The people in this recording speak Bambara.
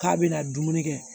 K'a bɛna dumuni kɛ